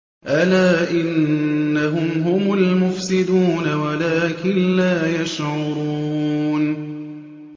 أَلَا إِنَّهُمْ هُمُ الْمُفْسِدُونَ وَلَٰكِن لَّا يَشْعُرُونَ